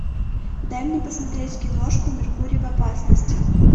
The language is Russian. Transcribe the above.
дай мне посмотреть киношку меркурий в опасности